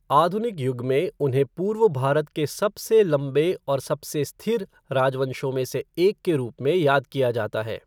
आधुनिक युग में, उन्हें पूर्व भारत के सबसे लंबे और सबसे स्थिर राजवंशों में से एक के रूप में याद किया जाता है।